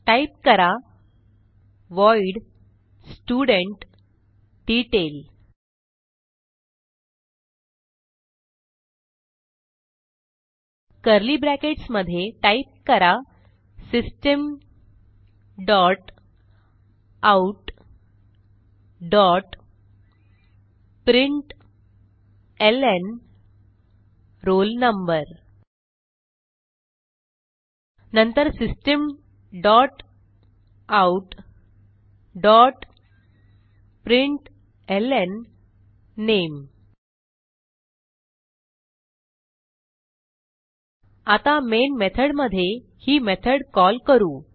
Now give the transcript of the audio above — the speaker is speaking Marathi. टाईप करा व्हॉइड studentDetail कर्ली ब्रॅकेट्स मध्ये टाईप करा system dot out dot println roll number नंतर system dot out dot println name आता मेन मेथडमध्ये ही मेथड कॉल करू